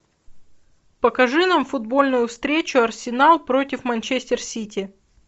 покажи нам футбольную встречу арсенал против манчестер сити